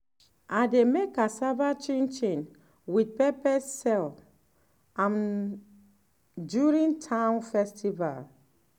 i dey make cassava chinchin with pepper sell um am during town festival. um